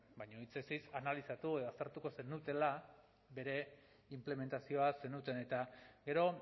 baina hitzez hitz analizatu eta aztertuko zenutela bere inplementazioa zenuten eta gero